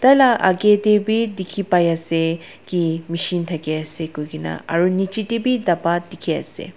tai la akae tae bi dikhi paiase ki machine thakiase koikaena aro nichae tae bi dapa dikhiase.